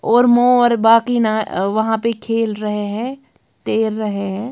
और मो और बाकी ना वहां पे खेल रहे हैं तैर रहे हैं।